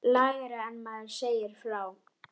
Lægra en maður segir frá.